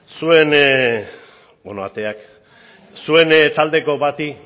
zuen ateak zuen taldeko bati